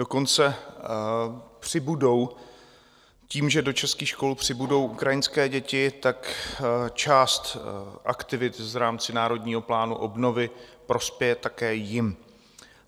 Dokonce přibudou tím, že do českých škol přibudou ukrajinské děti, tak část aktivit v rámci Národního plánu obnovy prospěje také jim.